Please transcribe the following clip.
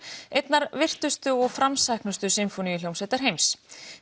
einnar virtustu og framsæknustu sinfóníuhljómsveitar heims